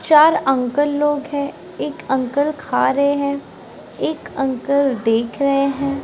चार अंकल लोग हैं एक अंकल खा रहे हैं एक अंकल देख रहे हैं।